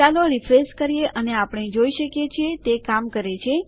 ચાલો રીફ્રેશ કરીએ અને આપણે જોઈ શકીએ તે કામ કરે છે